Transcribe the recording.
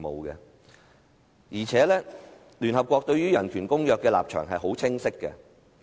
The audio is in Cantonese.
而且，聯合國對人權公約的立場很清晰。